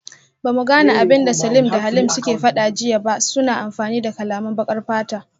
Bamu gane abinda Salim da Halim suke fada jiya ba, suna amfani da kalaman bakar fata